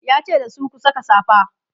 yace dasu "ku Saka safa!"